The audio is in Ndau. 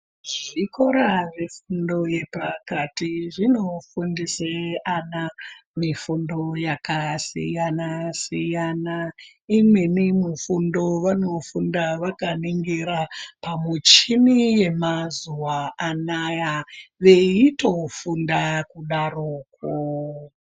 Zvikora zvefundo yepakati zvinofundise ana mifundo yakasiyana siyana imweni mufndo vanofunda vakaningira pamuchini yemazuwa anaya veitofunda kudarokwo.